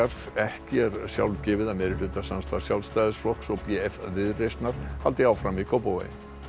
ekki er sjálfgefið að meirihlutasamstarf Sjálfstæðisflokks og b f Viðreisnar haldi áfram í Kópavogi